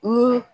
Ni